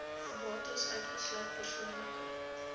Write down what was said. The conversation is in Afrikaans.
bates uitgesluit persoonlike